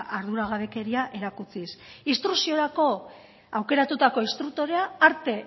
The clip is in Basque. arduragabekeria erakutsiz instrukziorako aukeratutako instruktorea arte